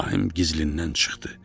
İbrahim gizlindən çıxdı.